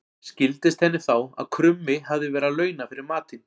Skildist henni þá að krummi hafði verið að launa fyrir matinn.